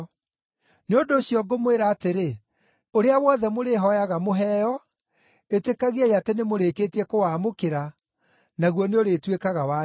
Nĩ ũndũ ũcio ngũmwĩra atĩrĩ, ũrĩa wothe mũrĩhooyaga mũheo, ĩtĩkagiai atĩ nĩ mũrĩkĩtie kũwamũkĩra, naguo nĩũrĩtuĩkaga wanyu.